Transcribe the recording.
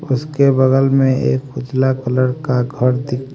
उसके बगल में एक उजला कलर का घर दि--